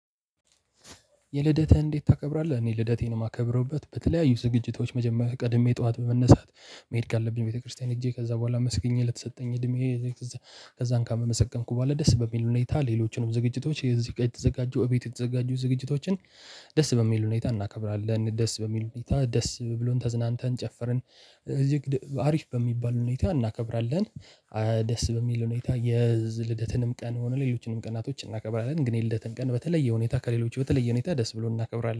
የልደትን እንደት ታከብራለህ? እነ ልደቴን የማከብርቤት በተለያዩ ዝግጅቶች መጀመሪያ ቀድሜ ጠዋት በመነሳት መሄድ ካለብኝ ቤተክርስቲያን ሂጄ ከዛ በኋላ አመስግኜ ለተሰጠኝ እድሜ ከዛን ከአመሰገንኩ በኋላ ደስ በሚል ሁነታ ሌሎችንም ዝግጅቶች ከእዚህ ጋር የተዘጋጁ ቤት የተዘጋጁ ዝግጅቶችን ደስ በሚል ሁኔታ እናከብራለን። ደስ በሚል ሁኔታ ደስ ብሎን ተዝናንተን ጨፈርን እዚህ አሪፍ በሚባል ሁኔታ እናከብራለን። ደስ በሚል ሁኔታ የልደትንም ቀን ሆኖ ሌሎችንም ቀናቶችን እናከብራለን። ግን የልደትን ቀን በተለየ ሁኔታ ከሌሎች በተለየ ሁኔታ ደስ ብሎን እናከብራለን።